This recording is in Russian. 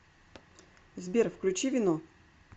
сбер включи вино